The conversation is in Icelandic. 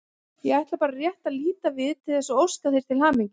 Ég ætlaði bara rétt að líta við til þess að óska þér til hamingju.